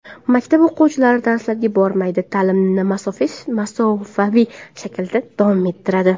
Maktab o‘quvchilari darslarga bormaydi, ta’limni masofaviy shaklda davom ettiradi.